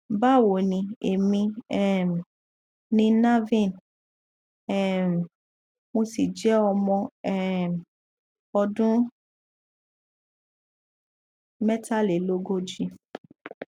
báwo ni èmi um ni naveen um mo sì jẹ ọmọ um ọdún mẹtàlélógójì